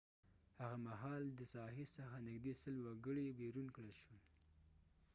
هغه مهال د ساحی څخه نږدې 100 سل وګړی بیرون کړل شول